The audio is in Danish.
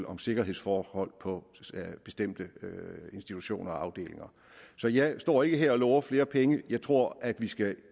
om sikkerhedsforhold på bestemte institutioner og afdelinger så jeg står ikke her og lover flere penge jeg tror at vi skal